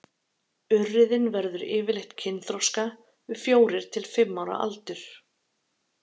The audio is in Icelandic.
urriðinn verður yfirleitt kynþroska við fjórir til fimm ára aldur